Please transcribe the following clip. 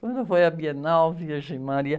Quando foi à Bienal, virgem Maria